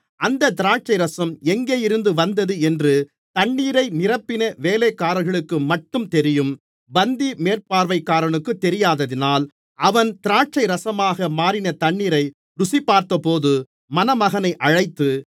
அந்த திராட்சைரசம் எங்கேயிருந்து வந்தது என்று தண்ணீரை நிரப்பின வேலைக்காரர்களுக்குமட்டும் தெரியும் பந்தி மேற்பார்வைகாரனுக்குத் தெரியாததினால் அவன் திராட்சைரசமாக மாறின தண்ணீரை ருசி பார்த்தபோது மணமகனை அழைத்து